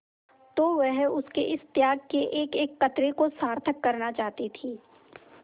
तो वह उसके इस त्याग के एकएक कतरे को सार्थक करना चाहती थी